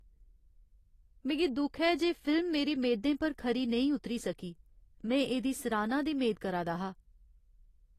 मिगी दुख ऐ जे फिल्म मेरी मेदें पर खरी नेईं उतरी सकी। में एह्दी सराह्ना दी मेद करा दा हा।